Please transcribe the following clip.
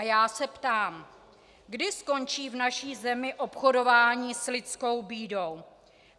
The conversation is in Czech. A já se ptám, kdy skončí v naší zemi obchodování s lidskou bídou.